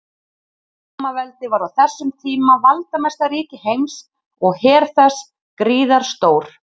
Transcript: Rómaveldi var á þessum tíma valdamesta ríki heims og her þess gríðarstór.